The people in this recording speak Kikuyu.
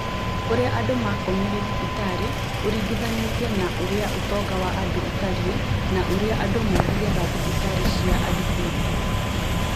Ũrĩa andũ makomire thibitarĩ ũringithanĩtie na ũrĩa ũtonga wa andũ ũtariĩ na ũrĩa andũ mathiaga thibitarĩ cia andũ kĩũmbe